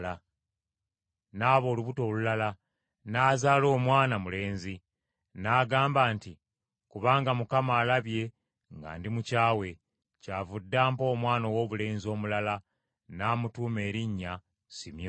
N’aba olubuto olulala, n’azaala omwana mulenzi, n’agamba nti, “Kubanga Mukama alabye nga ndi mukyawe, kyavudde ampa omwana owoobulenzi omulala; n’amutuuma erinnya Simyoni.”